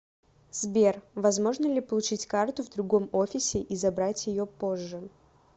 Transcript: сбер возможно ли получить карту в другом офисе и забрать ее позже